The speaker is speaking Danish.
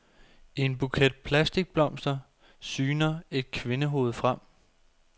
I en buket plastikblomster syner et kvindehoved frem.